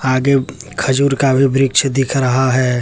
आगे खजूर का भी वृक्ष दिख रहा है।